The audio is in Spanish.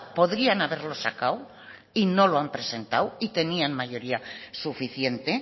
podrían haberlo sacado y no lo han presentado y tenían mayoría suficiente